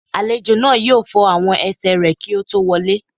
Àlejò náà yóò fọ àwọn ẹsẹ̀ rẹ̀ kí ó tó wọ lé